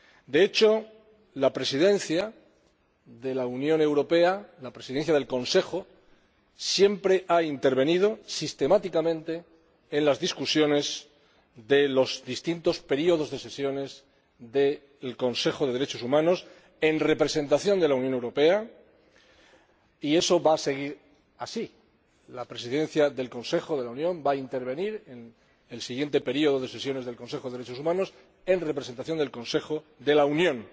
De hecho, la Presidencia de la Unión Europea, la Presidencia del Consejo, siempre ha intervenido, sistemáticamente, en las discusiones de los distintos períodos de sesiones del Consejo de Derechos Humanos en representación de la Unión Europea, y eso va a seguir así. La Presidencia del Consejo de la Unión va a intervenir en el siguiente período de sesiones del Consejo de Derechos Humanos en representación del Consejo de la Unión